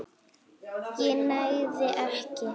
ég nægði ekki.